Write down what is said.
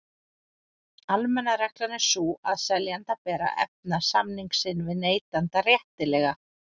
Almenna reglan er sú að seljanda ber að efna samning sinn við neytanda réttilega.